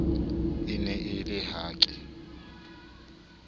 e ne e le hake